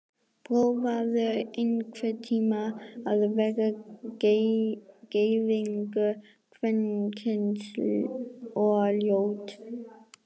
Prófaðu einhvern tíma að vera gyðingur, kvenkyns og ljót.